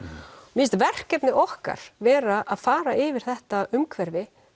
mér finnst verkefni okkar vera að fara yfir þetta umhverfi